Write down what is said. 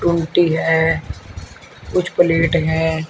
गुमती है कुछ प्लेट है।